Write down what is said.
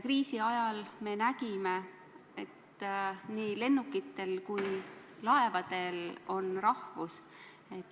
Kriisi ajal me nägime, et nii lennukitel kui ka laevadel on rahvus.